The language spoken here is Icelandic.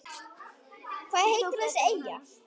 Hvað heitir þessi eyja?